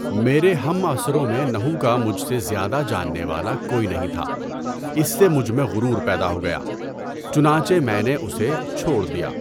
میرے ہم عصروں میں نحو کا مجھ سے زیادہ جاننے والا کوئی نہیں تھا، اس سے مجھ میں غرور پیدا ہو گیا، چنانچہ میں نے اسے چھوڑ دیا۔